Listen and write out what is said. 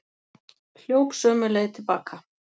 Hljóp sömu leið til baka.